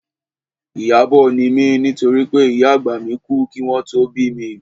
Ìyábọ̀ ni mí nítorí pé ìyá àgbà mi kú kí wọn tó bí mi